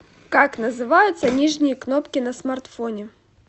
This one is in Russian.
как называются нижние кнопки на смартфоне